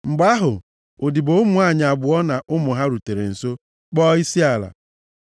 Mgbe ahụ, ndị odibo nwanyị abụọ na ụmụ ha rutere nso, kpọọ isiala.